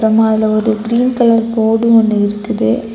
ஆமா அதுல ஒரு கிரீன் கலர் கோடு ஒன்னு இருக்குது.